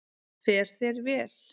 Fer þér vel!